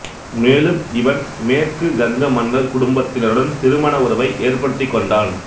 மேலும் இவன் மேற்கு கங்க மன்னர் குடும்பத்தினருடன் திருமண உறவை ஏற்படுத்திக்கொண்டான்